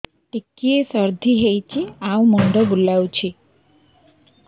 ଟିକିଏ ସର୍ଦ୍ଦି ହେଇଚି ଆଉ ମୁଣ୍ଡ ବୁଲାଉଛି